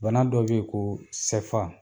Bana dɔ be ye koo sɛfa